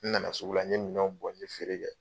N nana sugu la, n ɲe minɛn bɔn, n ɲe feere kɛ